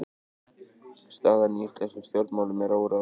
Staðan í íslenskum stjórnmálum er óráðin